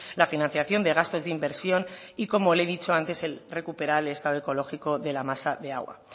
la financiación de gastos de inversión y como le he dicho antes recuperar el estado ecológico de la masa de agua